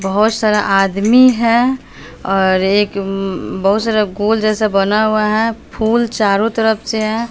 बहोत सारा आदमी है और एक बहोत सारा गोल जैसा बना हुआ है फूल चारों तरफ से है।